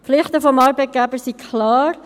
Die Pflichten des Arbeitgebers sind klar.